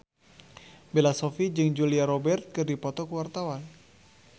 Bella Shofie jeung Julia Robert keur dipoto ku wartawan